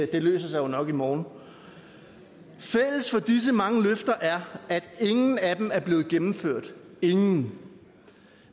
det løser sig jo nok i morgen fælles for disse mange løfter er at ingen af dem er blevet gennemført ingen